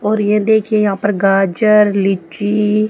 और ये देखिए यहां पर गाजर लीची--